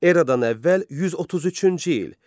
Eradan əvvəl 133-cü il.